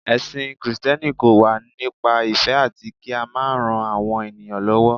ẹsìn Kristẹni kọ wa nípa ìfẹ ati ki a ma ran àwọn ènìyàn lówó